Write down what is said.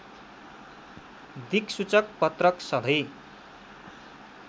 दिक्सूचक पत्रक सधैँ